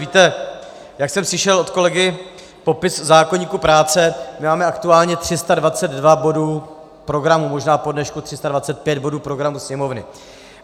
Víte, jak jsem slyšel od kolegy popis zákoníku práce, my máme aktuálně 322 bodů programu, možná po dnešku 325 bodů programu Sněmovny.